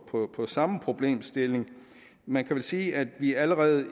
på på samme problemstilling man kan vel sige at vi allerede